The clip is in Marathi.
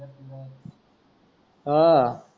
अं